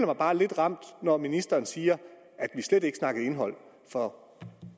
mig bare lidt ramt når ministeren siger at vi slet ikke snakkede indhold for